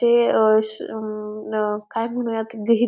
ते अह श अं न काय म्हणू यात गीही--